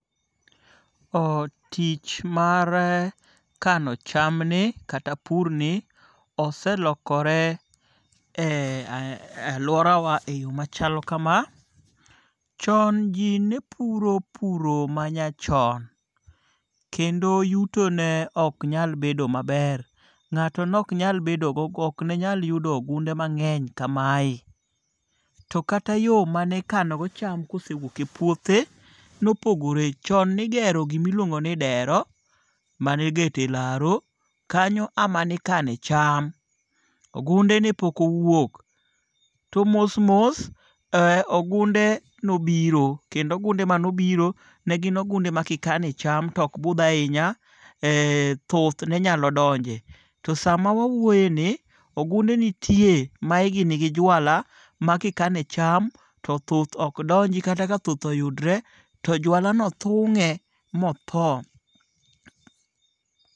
Tich mar kano chamni kata purni, oselokore e aluworawa e yo machalo kama, chon ji ne puro puro manyachon, kendo yutone oknyalo bedo maber, nga'to oknyal yudo ngunde mange'ny kamae, to kata yo mane ikano go cham kane osewuok e puothe , ne opogore, chon nigero gima iluongo ni dero mane igero e laro , mano emanikane cham, ogunde ne pok owuok, to mos mos ee ogunde nobiro kendo ogunde mane obiro ne gin gunde ma kanikane cham to ok buth ahinya ee thuth nenyalo donje, to samawauoyeni ogunde nitie ma higi nigi jwala ma kikane cham to thuth ok donji kataka thuth oyudre to jwalano thunge' ma otho.